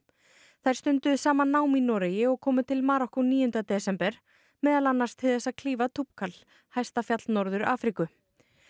þær stunduðu saman nám í Noregi og komu til Marokkó níunda desember meðal annars til þess að klífa hæsta fjall Norður Afríku